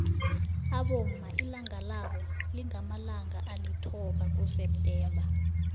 abomma ilanga labo lingamalanga alithoba kuseptember